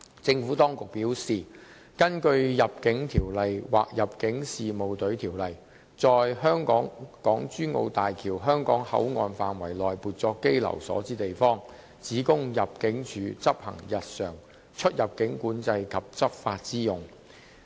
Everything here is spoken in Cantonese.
政府當局表示，根據《入境條例》或《入境事務隊條例》，在港珠澳大橋香港口岸範圍內撥作羈留所的地方，只供入境處執行日常出入境管制及執法之用。